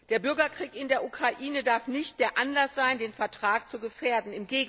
Der Bürgerkrieg in der Ukraine darf nicht der Anlass sein, den Vertrag zu gefährden.